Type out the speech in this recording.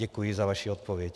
Děkuji za vaši odpověď.